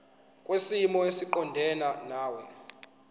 kwisimo esiqondena nawe